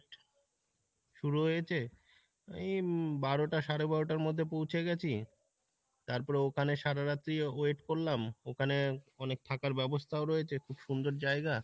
শুরু হয়েছে এই বারোটা সাড়ে বারোটার মধ্যে পৌঁছে গেছি তারপরে ওখানে সারা রাত্রি wait করলাম, ওখানে অনেক থাকার ব্যাবস্থাও রয়েছে খুব সুন্দর জায়গা,